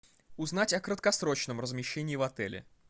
узнать о краткосрочном размещении в отеле